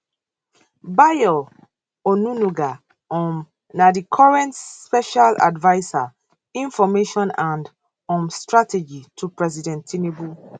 bayo onunuga um na di current special adviser information and um strategy to president tinubu